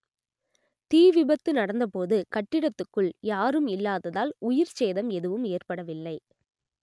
தீ விபத்து நடந்த போது கட்டிடத்துக்குள் யாரும் இல்லாததால் உயிர் சேதம் எதுவும் ஏற்படவில்லை